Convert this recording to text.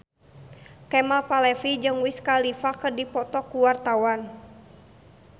Kemal Palevi jeung Wiz Khalifa keur dipoto ku wartawan